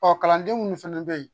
Ɔ kalanden munnu fɛnɛ be ye